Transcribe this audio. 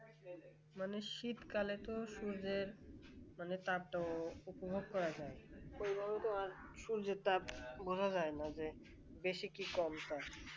মানে শীতকালে তো সূর্যের মানে তাপ উপভোগ করা যায় সেইভাবে তো সূর্যের তাপ বোঝা যায় না যে বেশি কি কম তা